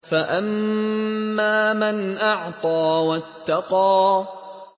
فَأَمَّا مَنْ أَعْطَىٰ وَاتَّقَىٰ